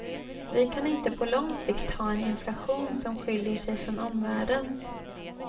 Vi kan inte på lång sikt ha en inflation som skiljer sig från omvärldens.